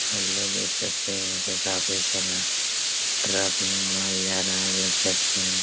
Hello देख सकते हैं यहाँ पे काफ़ी सारा ट्रक में माल जा रहा हैं देख सकते हैं।